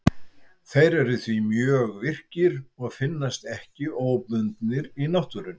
Þeir eru því mjög virkir og finnast ekki óbundnir í náttúrunni.